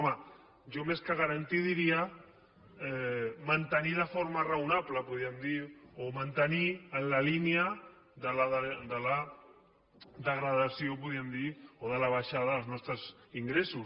home jo més que garantir diria mantenir de forma raonable podríem dir o mantenir en la línia de la degradació podríem dir o de la baixa dels nostres ingressos